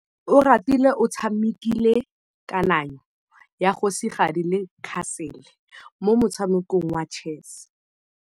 Oratile o tshamekile kananyô ya kgosigadi le khasêlê mo motshamekong wa chess.